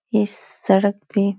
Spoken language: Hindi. इस सड़क पे --